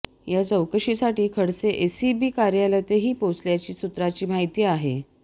या चौकशीसाठी खडसे एसीबी कार्यालयातही पोहोचल्याची सूत्रांची माहिती आहे